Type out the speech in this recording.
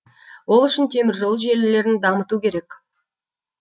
ол үшін теміржол желілерін дамыту керек